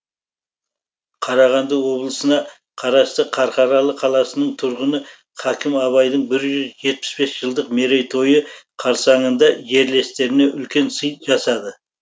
қарағанды облысына қарасты қарқаралы қаласының тұрғыны хакім абайдың бір жүз жетпіс бес жылдық мерейтойы қарсаңында жерлестеріне үлкен сый жасады